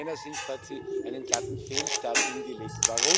Aus meiner Sicht hat sie einen glatten Fehlstart hingelegt.